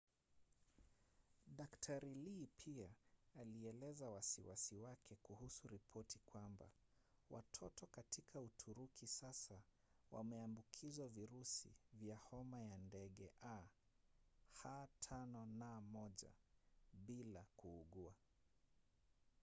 dkt. lee pia alieleza wasiwasi wake kuhusu ripoti kwamba watoto katika uturuki sasa wameambukizwa virusi vya homa ya ndege ah5n1 bila kuugua